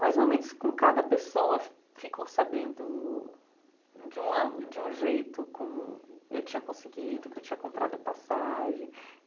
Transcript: Mas momentos com cada pessoa ficou sabendo de uma de um jeito como eu tinha conseguido, que eu tinha comprado a passagem.